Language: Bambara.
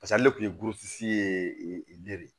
Paseke ale kun ye ye de